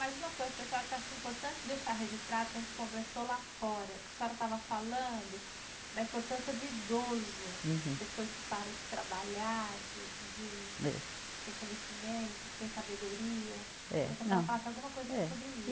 Mai uma coisa, pessoal, que eu acho importante deixar registrado, que a gente conversou lá fora, que a senhora estava falando da importância do idoso. Uhum. Depois que para de trabalhar, de, de. É. Que tem conhecimento, que tem sabedoria. É, não, é.